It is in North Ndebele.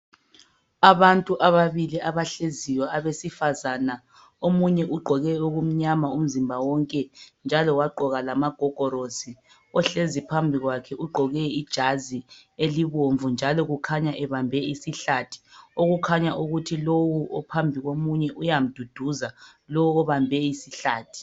Abantu ababili abahleziyo abesifazana. Omunye ugqoke okumnyama umzimba wonke njalo wagqoka lamagogorosi. Ohlezi phambi kwakhe ugqoke ijazi elibomvu njalo kukhanya ebambe isihlathi . Okukhanya ukuthi lo ophambi komunye uyamduduza lowo obambe isihlathi.